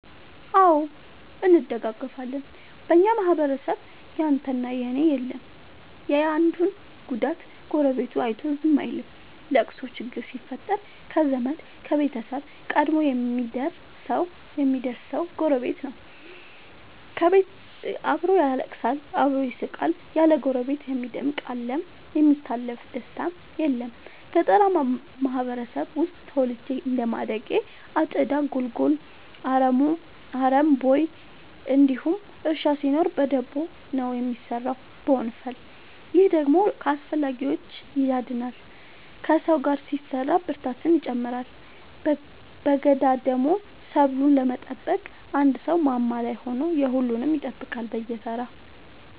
አዎ እንደጋገፋለን በኛ ማህበረሰብ ያንተ እና የኔ የለም የአንዱን ጉዳት ጎረቤቱ አይቶ ዝም አይልም። ለቅሶ ችግር ሲፈጠር ከዘመድ ከቤተሰብ ቀድሞ የሚደር ሰው ጎረቤት ነው። አብሮ ያለቅሳል አብሮ ይስቃል ያለ ጎረቤት የሚደምቅ አለም የሚታለፍ ደስታም የለም። ገጠርአማ ማህበረሰብ ውስጥ ተወልጄ እንደማደጌ አጨዳ ጉልጎሎ አረም ቦይ እንዲሁም እርሻ ሲኖር በደቦ ነው የሚሰራው በወንፈል። ይህ ደግሞ ከአላስፈላጊዎቺ ያድናል ከሰው ጋር ሲሰራ ብርታትን ይጨምራል። በገዳደሞ ሰብሉን ለመጠበቅ አንድ ሰው ማማ ላይ ሆኖ የሁሉም ይጠብቃል በየተራ።